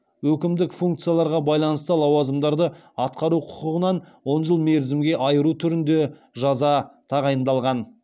өкімдік функцияларға байланысты лауазымдарды атқару құқығынан он жыл мерзімге айыру түрінде жаза тағайындалған